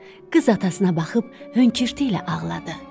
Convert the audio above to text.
Qız atasına baxıb höngürtü ilə ağladı.